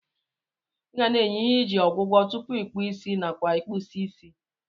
Igana enye ihe iji ogwọgwọ tupu ikpụọ isi nakwa ikpụsie isi.